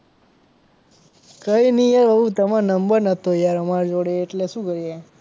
કઈ નહીં યાર એવું તમારો નંબર નહતો યાર અમાર જોડે એટલે શું કરીએ.